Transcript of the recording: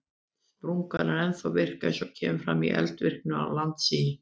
Sprungan er ennþá virk eins og kemur fram í eldvirkni og landsigi.